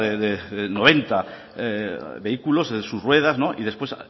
de noventa vehículos en sus ruedas y después